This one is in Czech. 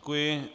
Děkuji.